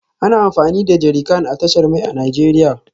Ana amfani da jerrycan a tashar mai a Najeriya